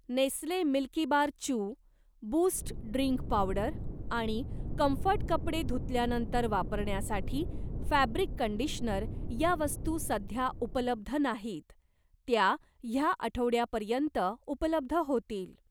Nestle Milkybar Choo, Boost drink powder आणि Comfort कपडे धुतल्यानंतर वापरण्यासाठी फॅब्रिक कंडिशनर या वस्तू सध्या उपलब्ध नाहीत, त्या ह्या आठवड्यापर्यंत उपलब्ध होतील.